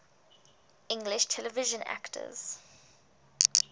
english television actors